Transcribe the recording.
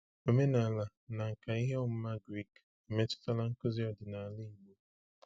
Omenala na nkà ihe ọmụma Grik emetụtala nkuzi ọdịnala Igbo.